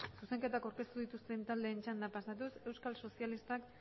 zuzenketak aurkeztu dituzten taldeen txandara pasatuz euskal sozialistak